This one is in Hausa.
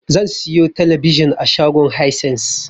Zan siyo talabijin a shagon Haisens.